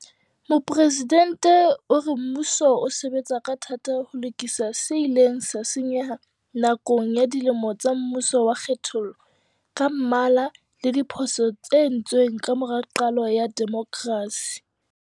Mopresidente o re mmuso o sebetsa ka thata ho lokisa se ileng sa senyeha nakong ya dilemo tsa mmuso wa kgethollo ka mmala le diphoso tse entsweng ka mora qalo ya demokrasi.